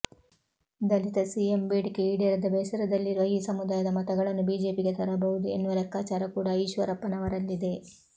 ದಲಿತ CM ಬೇಡಿಕೆ ಈಡೇರದ ಬೇಸರದಲ್ಲಿರುವ ಈ ಸಮುದಾಯದ ಮತಗಳನ್ನು ಬಿಜೆಪಿಗೆ ತರಬಹುದು ಎನ್ನುವ ಲೆಕ್ಕಾಚಾರ ಕೂಡ ಈಶ್ವರಪ್ಪನವರಲ್ಲಿದೆ